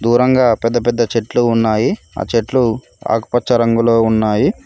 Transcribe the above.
దూరంగా పెద్ద పెద్ద చెట్లు ఉన్నాయి ఆ చెట్లు ఆకుపచ్చ రంగులో ఉన్నాయి.